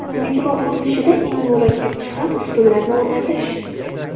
Metro qurilishida eng murakkab jihat ustunlarni o‘rnatish.